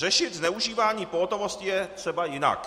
Řešit zneužívání pohotovosti je třeba jinak.